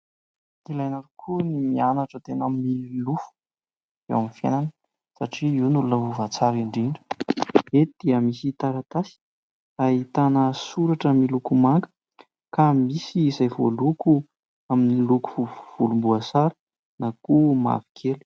Ilaina tokoa ny mianatra tena milofo eo amin'ny fiainana satria io no lova tsara indrindra. Eto dia misy taratasy ahitana soratra miloko manga ka misy izay voaloko amin'ny loko volomboasary na koa mavokely.